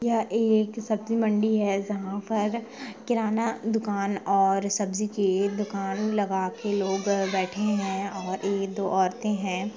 यह एक सब्जी मंडी है जहां पर किराना दुकान और सब्जी की एक दुकान लगा कर बैठे है और दो औरतें बैठे हैं।